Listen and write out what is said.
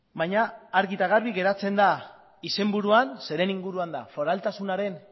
baina argi eta garbi geratzen da izenburua zeren inguruan da foraltasunaren